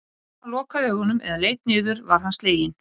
En ef hann lokaði augunum eða leit niður var hann sleginn.